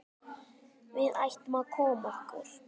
Við ættum að koma okkur.